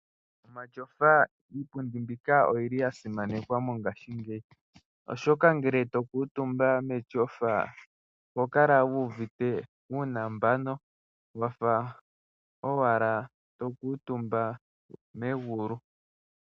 Omatyofa, iipundi mbika oya simanekwa mongashingeyi, oshoka ngele to kuutumba metyofa oho kala wu uvite uunambano wa fa owala to kuutumba megulu.